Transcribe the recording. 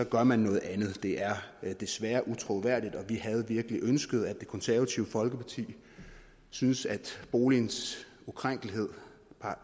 gør man noget andet det er desværre utroværdigt og vi havde virkelig ønsket at det konservative folkeparti synes at boligens ukrænkelighed